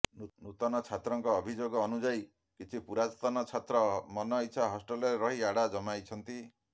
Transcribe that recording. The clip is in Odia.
ନୂତନ ଛାତ୍ରଙ୍କ ଅଭିଯୋଗ ଅନୁଯାୟୀ କିଛି ପୁରାତନ ଛାତ୍ର ମନଇଚ୍ଛା ହଷ୍ଟେଲରେ ରହି ଆଡ଼ା ଜମାଇଛନ୍ତି